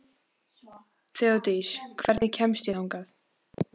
Þeódís, hvernig kemst ég þangað?